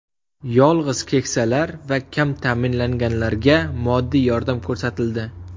Yolg‘iz keksalar va kam ta’minlanganlarga moddiy yordam ko‘rsatildi.